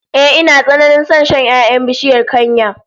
Ehh, ina tsananin son shan 'ya'yan bishiyar kanya